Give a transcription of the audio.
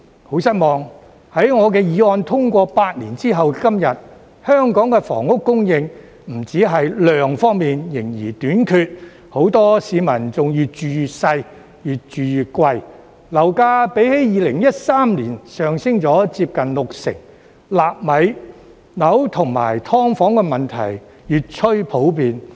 很失望，在我的議案通過8年後的今天，香港房屋供應不止在量方面仍然短缺，很多市民更越住越細、越住越貴，樓價比2013年上升了接近六成，"納米樓"和"劏房"問題越趨普遍。